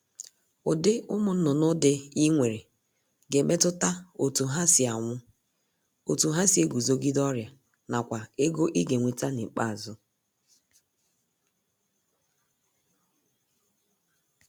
Ụdị ụmụnnụnụ dị I nwere ga-emetụta otu ha si anwụ, otu ha si eguzogide ọrịa nakwa ego I ga-enweta n'ikpeazụ